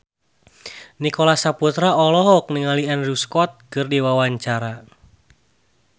Nicholas Saputra olohok ningali Andrew Scott keur diwawancara